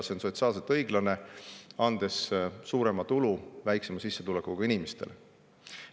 See on sotsiaalselt õiglane, andes suurema tulu väiksema sissetulekuga inimestele.